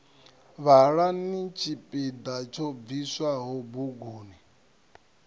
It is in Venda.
vhalani tshipiḓa tsho bviswaho buguni